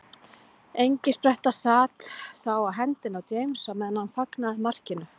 Engispretta sat þá á hendinni á James á meðan hann fagnaði markinu.